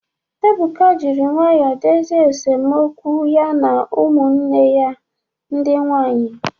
Ebuka jiri nwayọọ dozie esemokwu ya na ụmụnne ya ndị nwaanyị.